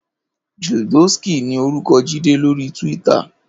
JIdóskí ni órúkò Jide lóri túwìtâ